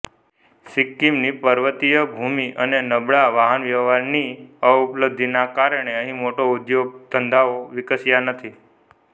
સિક્કિમની પર્વતીય ભૂમિ અને નબળા વાહનવ્યવહારની અપલબ્ધિને કારણે અહીં મોટા ઉદ્યોગ ધંધાઓ વિકસ્યા નથી